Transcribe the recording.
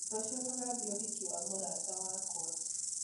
Rũciũ tũgathiĩ ũhiki wa mũrata wakwa